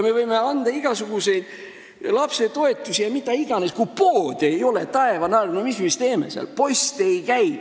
Me võime anda igasuguseid lapsetoetusi, mida iganes, aga kui seal poode ei ole ja post ei käi, siis mida me seal teeme, taevane arm?!